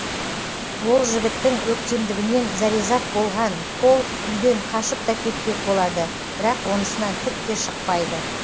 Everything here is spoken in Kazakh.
ол жігіттің өктемдігінен зәрезап болған пол үйден қашып та кетпек болады бірақ онысынан түк те шықпайды